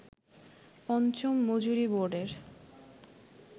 পঞ্চম মজুরি বোর্ডের